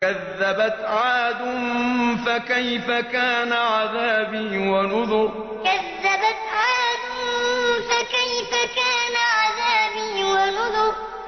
كَذَّبَتْ عَادٌ فَكَيْفَ كَانَ عَذَابِي وَنُذُرِ كَذَّبَتْ عَادٌ فَكَيْفَ كَانَ عَذَابِي وَنُذُرِ